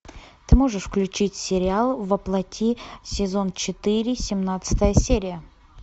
ты можешь включить сериал воплоти сезон четыре семнадцатая серия